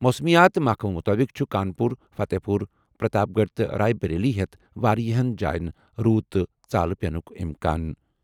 موسمیات محکمہٕ مُطٲبِق چھُ کانپوٗر، فتح پوٗر، پرتاپ گڑھ تہٕ رائے بریلی ہٮ۪تھ واریٛاہَن جایَن روٗد تہٕ ژالہ پینُک اِمکان۔